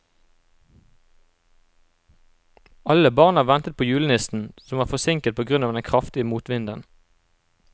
Alle barna ventet på julenissen, som var forsinket på grunn av den kraftige motvinden.